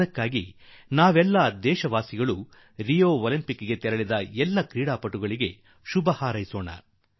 ಆದುದರಿಂದಲೇ ನಾವೆಲ್ಲರೂ Rio Olympics ಗೆ ಹೋಗಿರುವ ನಮ್ಮೆಲ್ಲಾ ಕ್ರೀಡಾಪಟುಗಳಿಗೆ ಶುಭಾಶಯ ನೀಡೋಣ